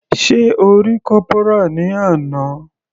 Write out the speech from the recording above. Sé O rí Corporal ní àná.